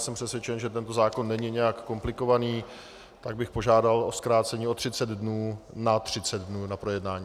Jsem přesvědčen, že tento zákon není nijak komplikovaný, tak bych požádal o zkrácení o 30 dnů na 30 dnů na projednání.